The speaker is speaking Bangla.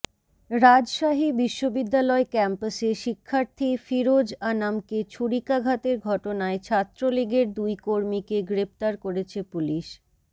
রাজশাহী বিশ্ববিদ্যালয় ক্যাম্পাসে শিক্ষার্থী ফিরোজ আনামকে ছুরিকাঘাতের ঘটনায় ছাত্রলীগের দুই কর্মীকে গ্রেপ্তার করেছে পুলিশ